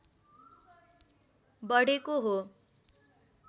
बढेको हो